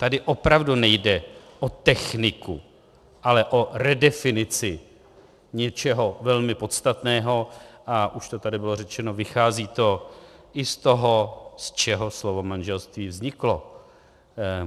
Tady opravdu nejde o techniku, ale o redefinici něčeho velmi podstatného, a už to tady bylo řečeno, vychází to i z toho, z čeho slovo manželství vzniklo.